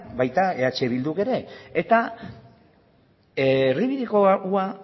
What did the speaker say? baita eh bilduk ere eta erdibidekoa